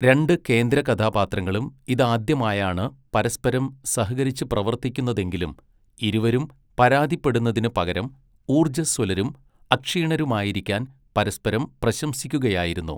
രണ്ട് കേന്ദ്രകഥാപാത്രങ്ങളും ഇതാദ്യമായാണ് പരസ്പരം സഹകരിച്ച് പ്രവർത്തിക്കുന്നതെങ്കിലും ഇരുവരും പരാതിപ്പെടുന്നതിന് പകരം ഊർജ്ജസ്വലരും അക്ഷീണരുമായിരിക്കാൻ പരസ്പരം പ്രശംസിക്കുകയായിരുന്നു.